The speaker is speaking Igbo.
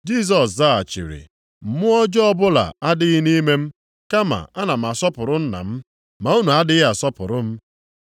Jisọs zaghachiri, “Mmụọ ọjọọ ọbụla adịghị nʼime m, kama ana m asọpụrụ Nna m, ma unu adịghị asọpụrụ m.